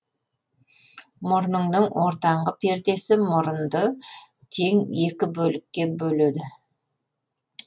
мұрынның ортаңғы пердесі мұрынды тең екі бөлікке бөледі